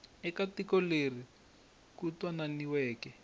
eka tiko leri ku twananiweke